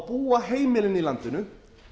búa heimilin í landinu